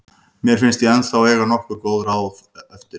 Mér finnst ég ennþá eiga nokkur góð ár eftir.